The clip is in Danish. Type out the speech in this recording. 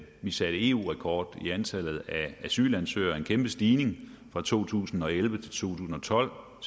vi satte eu rekord i antallet af asylansøgere en kæmpe stigning fra to tusind og elleve til to tusind og tolv og